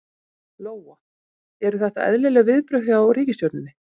Lóa: Eru þetta eðlileg viðbrögð hjá ríkisstjórninni?